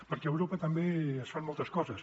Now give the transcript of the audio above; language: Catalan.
perquè a europa també es fan moltes coses